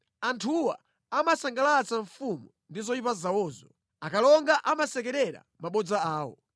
“Anthuwa amasangalatsa mfumu ndi zoyipa zawozo, akalonga amasekerera mabodza awo.